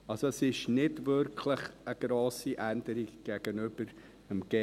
Es ist also nicht wirklich eine grosse Änderung gegenüber 4G.